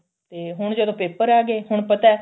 ਤੇ ਹੁਣ ਜਦੋਂ paper ਆ ਗਏ ਹੁਣ ਪਤਾ